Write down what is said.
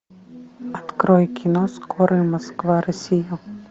открой кино скорый москва россия